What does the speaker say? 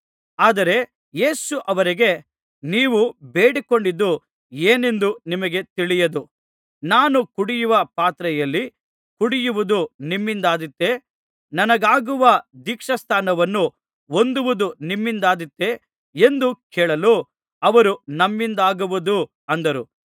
ಆದರೆ ಯೇಸು ಅವರಿಗೆ ನೀವು ಬೇಡಿಕೊಂಡದ್ದು ಏನೆಂದು ನಿಮಗೇ ತಿಳಿಯದು ನಾನು ಕುಡಿಯುವ ಪಾತ್ರೆಯಲ್ಲಿ ಕುಡಿಯುವುದು ನಿಮ್ಮಿಂದಾದೀತೆ ನನಗಾಗುವ ದೀಕ್ಷಾಸ್ನಾನವನ್ನು ಹೊಂದುವುದು ನಿಮ್ಮಿಂದಾದೀತೆ ಎಂದು ಕೇಳಲು ಅವರು ನಮ್ಮಿಂದಾಗುವುದು ಅಂದರು